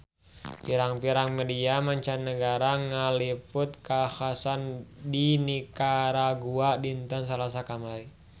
Pirang-pirang media mancanagara ngaliput kakhasan di Nikaragua dinten Salasa kamari